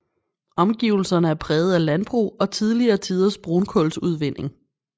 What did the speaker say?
Omgivelserne er præget af landbrug og tidligere tiders brunkujlsudvinding